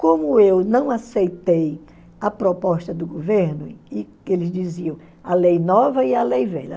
Como eu não aceitei a proposta do governo, e que eles diziam a lei nova e a lei velha.